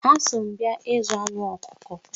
Ha so m abia ịzụ anụ ọkụkọ.